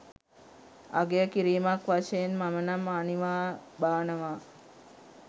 අගය කිරීමක් වශයෙන් මම නම් අනිවා බානවා.